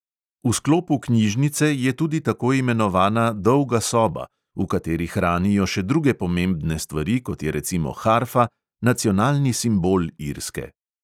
V sklopu knjižnice je tudi tako imenovana dolga soba, v kateri hranijo še druge pomembne stvari, kot je recimo harfa – nacionalni simbol irske.